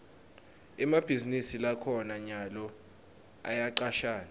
emabhizinisi lakhona nyalo ayacashana